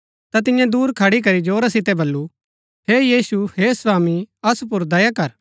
ता तियें दुर खड़ी करी जोरा सितै बल्लू हे यीशु हे स्वामी असु पुर दया कर